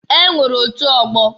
E nwere otu ọgbọ.